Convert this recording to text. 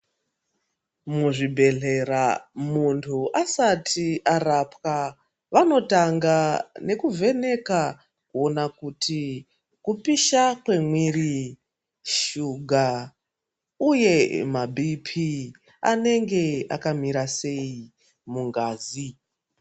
Muzvibhehlera munhu asati arapwa vanotanga nekuvheneka kuona kuti kupisha kwemwiri, shuka, uye maBp anenge akamira sei mungazi.